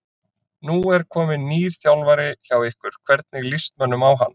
Nú er kominn nýr þjálfari hjá ykkur, hvernig líst mönnum á hann?